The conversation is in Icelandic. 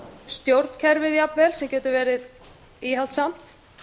stjórnkerfið jafnvel sem getur verið íhaldssamt